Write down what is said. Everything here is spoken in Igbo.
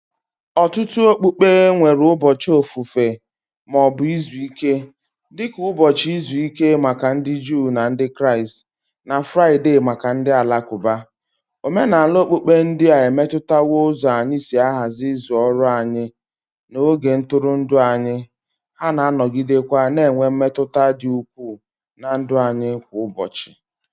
Ọtụtụ okpukpe nwere ụbọchị ofufe ma ọ bụ izu ike, dị ka ụbọchị izu ike maka ndị Juu na Ndị Kraịst na Fraịde maka ndị Alakụba. Omenala okpukpe ndị a emetụtawo ụzọ anyị si ahazi izu ọrụ anyị na oge ntụrụndụ anyị, ha na-anọgidekwa na-enwe mmetụta dị ukwuu ná ndụ anyị kwa ụbọchị